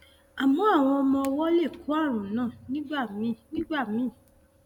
àmọ àwọn ọmọ ọwọ lè kó ààrùn náà nígbà míì náà nígbà míì